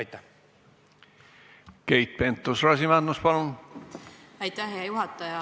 Aitäh, hea juhataja!